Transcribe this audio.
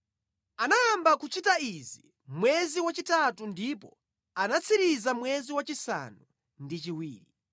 Anayamba kuchita izi mwezi wachitatu ndipo anatsiriza mwezi wachisanu ndi chiwiri.